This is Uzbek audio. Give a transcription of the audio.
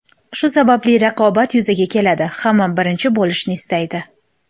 Shu sababli raqobat yuzaga keladi: hamma birinchi bo‘lishni istaydi.